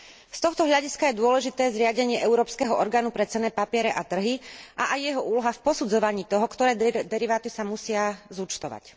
Z tohto hľadiska je dôležité zriadenie Európskeho orgánu pre cenné papiere a trhy a aj jeho úloha v posudzovaní toho, ktoré deriváty sa musia zúčtovať.